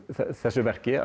þessu verki